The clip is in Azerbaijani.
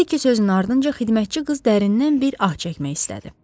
Bu iki sözün ardınca xidmətçi qız dərindən bir ah çəkmək istədi.